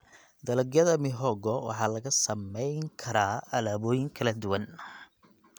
Dalagyada mihogo waxaa laga samayn karaa alaabooyin kala duwan.